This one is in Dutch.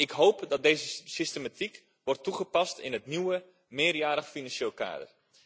Ik hoop dat deze systematiek wordt toegepast in het nieuwe meerjarig financieel kader.